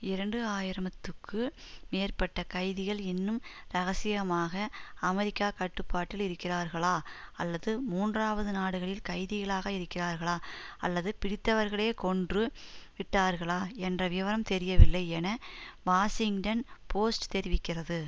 இரண்டு ஆயிரம்த்துக்கு மேற்பட்ட கைதிகள் இன்னும் இரகசியமாக அமெரிக்கா கட்டுப்பாட்டில் இருக்கிறார்களா அல்லது மூன்றாவது நாடுகளில் கைதிகளாக இருக்கிறார்களா அல்லது பிடித்தவர்களே கொன்று விட்டார்களா என்ற விவரம் தெரியவில்லை என வாஷிங்டன் போஸ்ட் தெரிவிக்கிறது